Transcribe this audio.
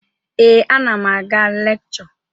Ee, ana m aga lekchọ.